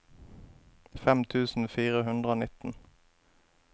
fem tusen fire hundre og nitten